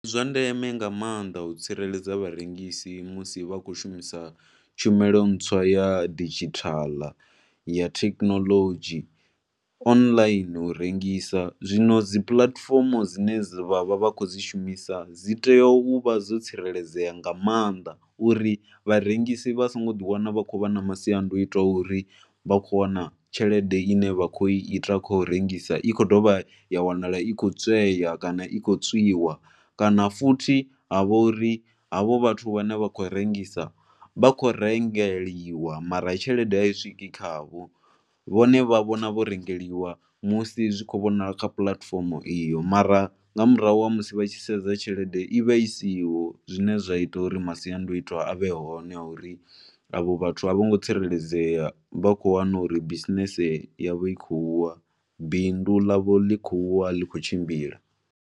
Ndi zwa ndeme nga maanḓa u tsireledza vharengisi musi vha khou shumisa tshumelo ntswa ya didzhithala ya thekinolodzhi online u rengisa. Zwino dzi puḽatifomo dzine vha vha vha khou dzi shumisa dzi tea u vha dzo tsireledzea nga maanḓa uri vharengisi vha songo ḓi wana vha khou vha na masiandaitwa a uri vha khou wana tshelede i ne vha khou i ita kha u rengisa i khou dovha ya wanala i khou tswea kana i khou tswiwa kana futhi ha vha uri havho vhathu vhane vha khou rengisa vha khou rengeliwa mara tshelede a i swiki khavho. Vhone vha vhona vho rengeliwa musi zwi tshi khou vhonala kha puḽatifomo iyo mara nga murahu ha musi vha tshi sedza tshelede i vha i siho zwine zwa ita uri masiandaitwa a vhe hone a uri vhathu a vho ngo tsireledzea vha khou wana uri bisinese yavho i khou wa, bindu ḽavho ḽi khou wa a ḽi khou tshimbila.